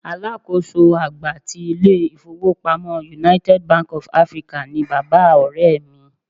Alákòóso àgbà ti ilé-ifowopamo United Bank of Africa ni bàbá Ọ̀rẹ́ mi.